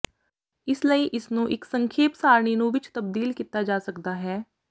ਇਸ ਲਈ ਇਸ ਨੂੰ ਇੱਕ ਸੰਖੇਪ ਸਾਰਣੀ ਨੂੰ ਵਿੱਚ ਤਬਦੀਲ ਕੀਤਾ ਜਾ ਸਕਦਾ ਹੈ